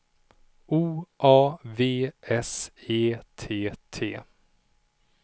O A V S E T T